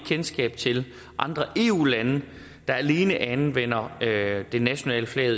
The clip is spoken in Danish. kendskab til andre eu lande der alene anvender det nationale flag